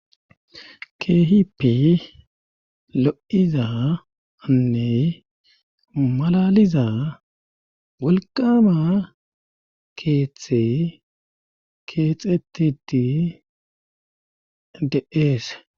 Keehippi lo'iza anne malaliza walkama keethte keexetiti deeese.